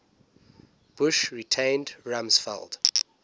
bush retained rumsfeld